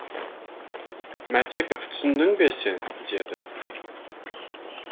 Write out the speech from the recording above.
мәтеков түсіндің бе сен деді